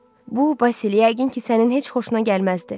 Bu, Basil, yəqin ki, sənin heç xoşuna gəlməzdi.